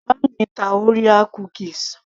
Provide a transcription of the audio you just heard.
bàbá mi ń ta orea cookies